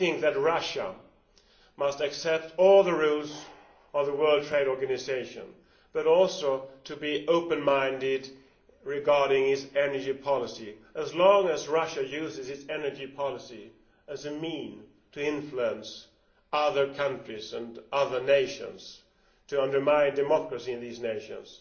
I think that Russia must accept all the rules of the World Trade Organisation and must also be open minded regarding its energy policy. So long as Russia uses its energy policy as a means to influence other countries and other nations, and to undermine democracy in those nations,